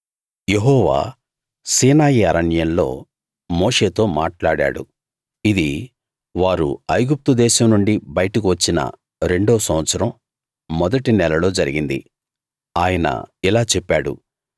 యెహోవా సీనాయి అరణ్యంలో మోషేతో మాట్లాడాడు ఇది వారు ఐగుప్తు దేశం నుండి బయటకు వచ్చిన రెండో సంవత్సరం మొదటి నెలలో జరిగింది ఆయన ఇలా చెప్పాడు